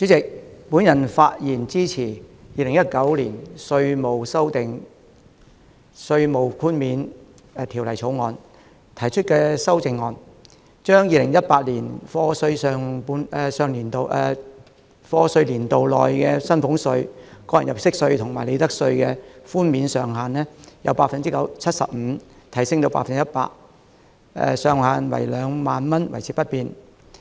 主席，我發言支持《2019年稅務條例草案》提出的修正案，將 2018-2019 課稅年度內薪俸稅、個人入息課稅及利得稅的寬免上限由 75% 提升至 100%， 上限2萬元維持不變。